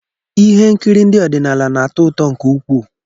Ihe nkiri ndị ọdịnala na-atọ ụtọ nke ukwuu.